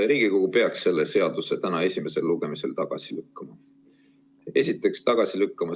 Riigikogu peaks selle seaduse täna esimesel lugemisel tagasi lükkama.